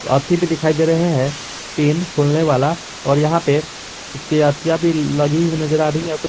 भी दिखाई दे रहे हैं पेन खोलने वाला और यहां पे उसके अथिया भी लगी हुई नजर आ रही है।